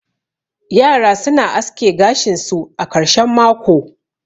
yara suna aske gashin su a karshen mako